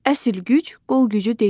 Əsl güc qol gücü deyil.